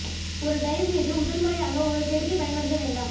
ஒரு டைவ் மீது முதல் முறையாக ஒரு கெடுதி பயன்படுத்த வேண்டாம்